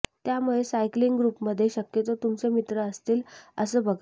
त्यामुळे सायकलिंग ग्रुपमध्ये शक्यतो तुमचे मित्र असतील असं बघा